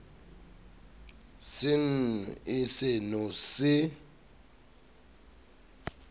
se nw e seno se